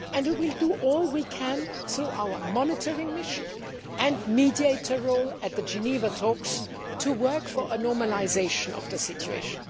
And we will do all we can through our monitoring mission and mediator role at the Geneva talks to work for a normalisation of the situation.